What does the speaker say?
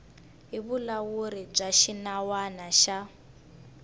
hi vulawuri bya xinawana xa